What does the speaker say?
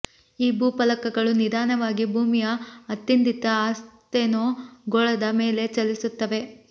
ಈ ಭೂಫಲಕಗಳು ನಿಧಾನವಾಗಿ ಭೂಮಿಯ ಅತ್ತಿಂದಿತ್ತ ಅಸ್ತೆನೋ ಗೋಳದ ಮೇಲೆ ಚಲಿಸುತ್ತವೆ